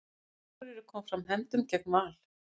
Akureyri kom fram hefndum gegn Val